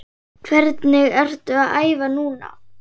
Hvernig ertu að æfa núna?